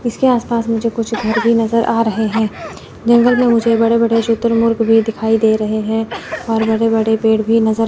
इसके आस पास मुझे कुछ घर भी नज़र आ रहे हैं जंगल में मुझे बड़े-बड़े शुतुरमुर्ग भी दिखाई दे रहे हैं और बड़े-बड़े पेड़ भी नज़र --